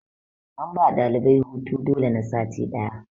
an ba ɗalibai hutu dole na sati ɗaya